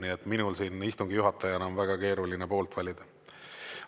Nii et minul siin istungi juhataja enam väga keeruline poolt valida.